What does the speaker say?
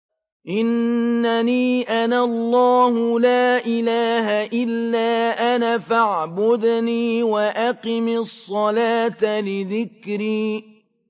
إِنَّنِي أَنَا اللَّهُ لَا إِلَٰهَ إِلَّا أَنَا فَاعْبُدْنِي وَأَقِمِ الصَّلَاةَ لِذِكْرِي